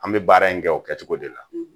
An bɛ baara in kɛ o kɛcogo de la